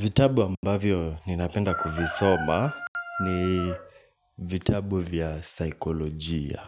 Vitabu ambavyo ninapenda kuvisoma ni vitabu vya saikolojia